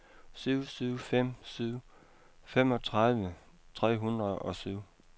syv syv fem syv femogtredive tre hundrede og syv